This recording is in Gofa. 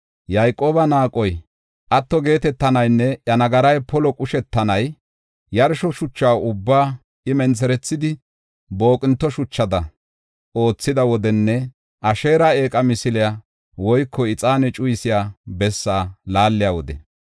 Yayqooba naaqoy atto geetetanaynne iya nagaray polo qushetanay, yarsho shucha ubbaa I mentherethidi booqinte shuchada oothiya wodenne Asheera eeqa misiliya woyko ixaane cuyisiya bessaa laaliya wode.